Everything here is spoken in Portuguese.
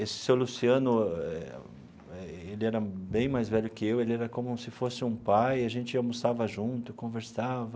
Esse seu Luciano, ele era bem mais velho que eu, ele era como se fosse um pai, a gente almoçava junto, conversava.